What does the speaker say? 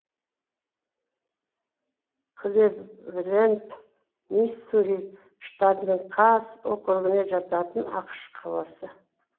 клэвелэнд миссури штатының касс округіне жататын ақш қаласы